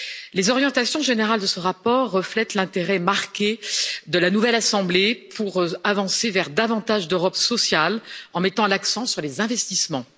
Les orientations générales de ce rapport reflètent l'intérêt marqué de la nouvelle assemblée pour avancer vers davantage d'Europe sociale en mettant l'accent sur les investissements.